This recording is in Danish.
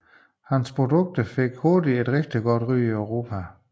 Hans produkter fik hurtigt et meget godt ry i Europa